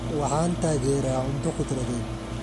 Waxaan taageeraa cunto khudradeed.